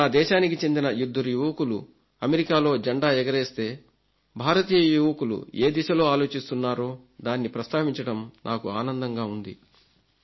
ఇప్పుడు నా దేశానికి చెందిన ఇద్దరు యువకులు అమెరికాలో జెండా ఎగరేస్తే భారతీయ యువకులు ఏ దిశలో ఆలోచిస్తున్నారో దాన్ని ప్రస్తావించడం నాకు ఆనందంగా ఉంది